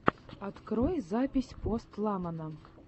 открой запись пост малона